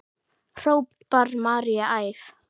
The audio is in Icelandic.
hrópar María æf.